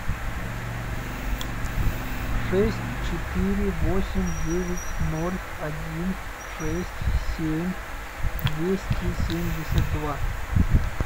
шесть четыре восемь девять ноль один шесть семь двести семьдесят два